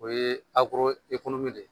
O ye de.